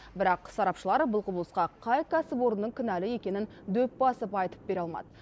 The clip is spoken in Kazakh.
бірақ сарапшылар бұл құбылысқа қай кәсіпорынның кінәлі екенін дөп басып айтып бере алмады